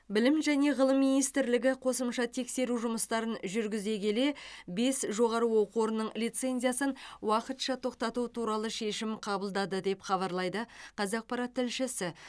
білім және ғылым министрлігі қосымша тексеру жұмыстарын жүргізе келе бес жоғары оқу орнының лицензиясын уақытша тоқтату туралы шешім қабылдады деп хабарлайды қазақпарат тілшісі